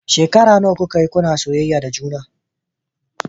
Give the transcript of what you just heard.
Shekara nawa kuka yi kuna soyayya da juna?